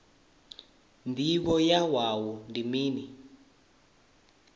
ndivho ya wua ndi mini